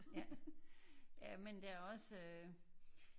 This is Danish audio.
Ja ja men der er også øh